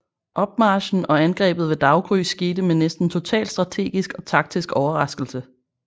Opmarchen og angrebet ved daggry skete med næsten total strategisk og taktisk overraskelse